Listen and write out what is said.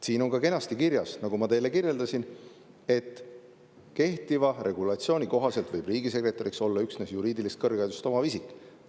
Siin on ka kenasti kirjas, nagu ma teile kirjeldasin, et kehtiva regulatsiooni kohaselt võib riigisekretäriks olla üksnes juriidilist kõrgharidust omav isik.